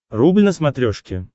рубль на смотрешке